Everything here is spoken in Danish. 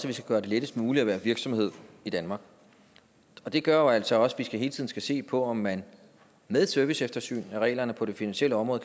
vi skal gøre det lettest muligt at være virksomhed i danmark og det gør jo altså også at vi hele tiden skal se på om man med et serviceeftersyn af reglerne på det finansielle område